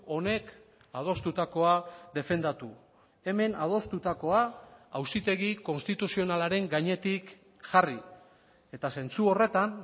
honek adostutakoa defendatu hemen adostutakoa auzitegi konstituzionalaren gainetik jarri eta zentzu horretan